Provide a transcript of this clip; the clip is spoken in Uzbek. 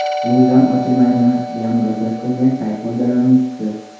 Ro‘zam ochilmaydimi?” deya murojaat qilgan sayt foydalanuvchisi.